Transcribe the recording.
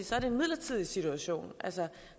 så er det en midlertidig situation altså